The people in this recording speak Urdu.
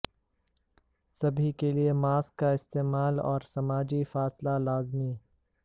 سبھی کیلئے ماسکس کا استعمال اور سماجی فاصلہ لازمی